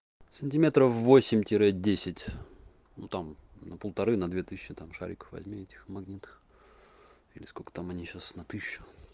сантиметров восемь тире десять ну там на полторы на две тысячи там шариков возьми этих магнитных или сколько там они сейчас на тысячу